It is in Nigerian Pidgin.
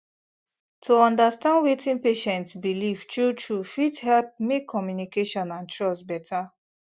to understand wetin patient believe truetrue fit help make communication and trust better